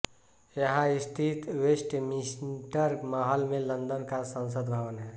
यहां स्थित वेस्टमिंस्टर महल में लंदन का संसद भवन है